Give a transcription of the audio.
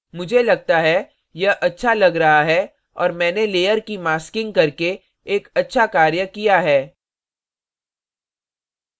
मुझे लगता है यह अच्छा लग रहा है और मैंने layer की masking करके एक अच्छा कार्य किया है